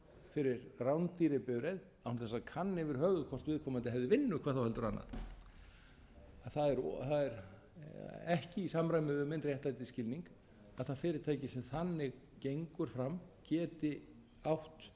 fyrir rándýrri bifreið án þess að kanna yfir höfuð hvort viðkomandi hefði vinnu hvað þá heldur annað að það er ekki í samræmi við minn réttlætisskilning að það fyrirtæki sem þannig gengur fram geti átt